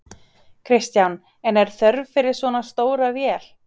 Kristján: En er þörf fyrir svona stóra vél?